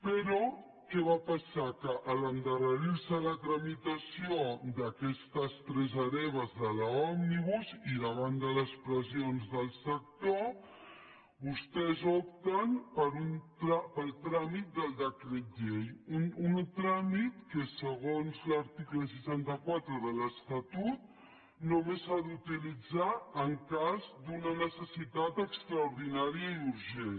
però què va passar que en endarrerir se la tramitació d’aquestes tres hereves de l’òmnibus i davant de les pressions del sector vostès opten pel tràmit del decret llei un tràmit que segons l’article seixanta quatre de l’estatut només s’ha d’utilitzar en cas d’una necessitat extraordinària i urgent